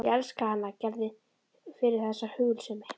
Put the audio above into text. Ég elska hana Gerði fyrir þessa hugulsemi.